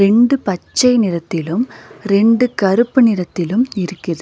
ரெண்டு பச்சை நிறத்திலும் ரெண்டு கருப்பு நிறத்திலும் இருக்குது.